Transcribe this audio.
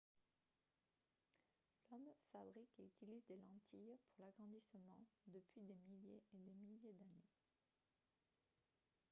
l'homme fabrique et utilise des lentilles pour l'agrandissement depuis des milliers et des milliers d'années